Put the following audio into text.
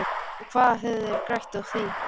Og hvað hefðu þeir grætt á því?